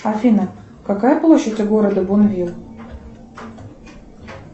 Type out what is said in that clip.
афина какая площадь у города бонвир